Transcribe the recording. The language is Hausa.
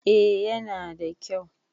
A yana da kyau